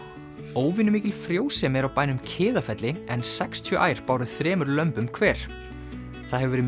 óvenjumikil frjósemi er á bænum Kiðafelli en sextíu ær báru þremur lömbum hver það hefur verið